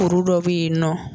Kuru dɔ bɛ' yen nɔɔ.